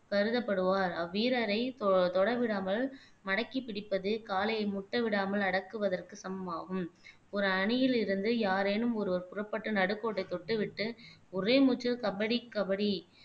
கருதப்படுவார் அவ்வீரரை தொ தொட விடாமல் மடக்கி பிடிப்பது காளையை முட்டவிடாமல் அடக்குவதற்கு சமமாகும் ஒரு அணியில் இருந்து யாரேனும் ஒருவர் புறப்பட்டு நடுக்கோட்டை தொட்டுவிட்டு ஒரே மூச்சில் கபடி கபடி